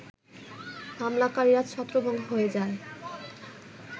হামলাকারীরা ছত্রভঙ্গ হয়ে যায